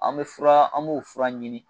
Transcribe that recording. An bɛ fura an b'o fura ɲini